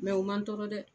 u man tɔɔrɔ dɛ